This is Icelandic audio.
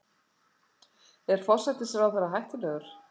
Er forsætisráðherra hættulegur?